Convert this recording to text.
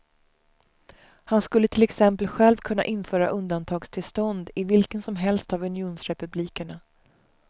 Han skulle till exempel själv kunna införa undantagstillstånd i vilken som helst av unionsrepublikerna.